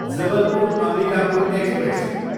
Jabalpur, Ambikapur express